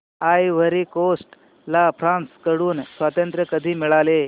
ivory Coast ला France कडून स्वातंत्र्य कधी मिळाले